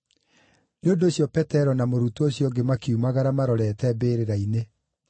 Nĩ ũndũ ũcio Petero na mũrutwo ũcio ũngĩ makiumagara marorete mbĩrĩra-inĩ.